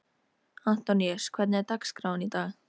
Antoníus, hvernig er dagskráin í dag?